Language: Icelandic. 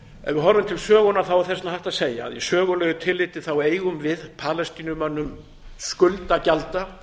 er þess vegna hægt að segja að í sögulegu tilliti eigum við palestínumönnum skuld að gjalda